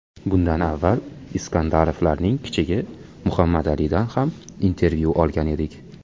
Bundan avval Iskandarovlarning kichigi, Muhammadalidan ham intervyu olgan edik .